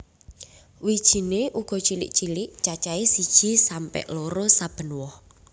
Wijiné uga cilik cilik cacahé siji sampe loro saben woh